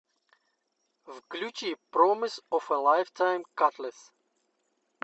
включи промис оф э лайфтайм катлесс